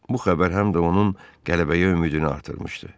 Bu xəbər həm də onun qələbəyə ümidini artırmışdı.